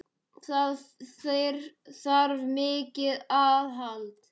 Það þarf mikið aðhald.